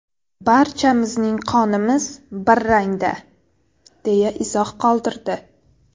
Barchamizning qonimiz bir rangda” deya izoh qoldirdi.